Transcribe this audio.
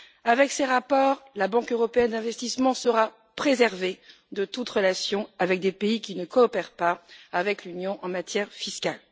Avec ces rapports, la Banque européenne d'investissement sera préservée de toute relation avec des pays qui ne coopèrent pas avec l'Union en matière fiscale.